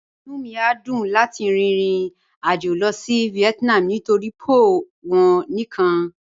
Inú mi yó dùn láti rìn ìrìn-àjọ̀ lọ sí Vietnam nítorí̀ pho wọn níkan.